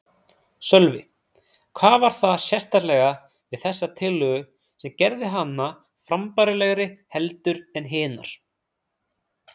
Sölvi: Hvað var það sérstaklega við þessa tillögu sem gerði hana frambærilegri heldur en hinar?